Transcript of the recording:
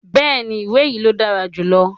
Bẹ́ẹ̀ni, iwe yii lo dara julọ